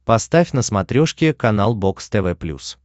поставь на смотрешке канал бокс тв плюс